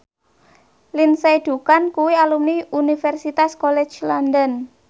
Lindsay Ducan kuwi alumni Universitas College London